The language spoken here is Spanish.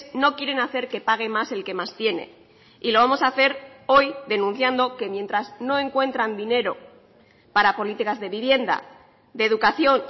no quieren hacer que pague más el que más tiene y lo vamos a hacer hoy denunciando que mientras no encuentran dinero para políticas de vivienda de educación